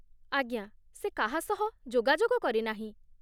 ଆଜ୍ଞା, ସେ କାହା ସହ ଯୋଗାଯୋଗ କରିନାହିଁ ।